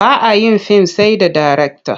Ba a yin fim sai da darekta.